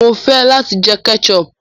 Mo fẹ lati jẹ ketchup